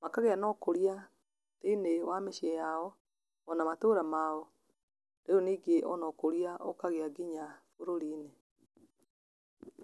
makagĩa na ũkũria thĩinĩ wa mĩciĩ yao, ona matũra mao, rĩu ningĩ ona ũkũria ũkagĩa nginya bũrũri-inĩ.